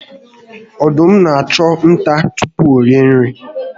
Ọdụm n'achụ nta tupu orie ihe